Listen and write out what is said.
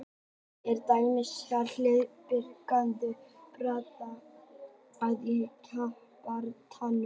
Hann er til dæmis ekki hið bjargtrausta baráttutæki verkalýðsins í kjarabaráttunni.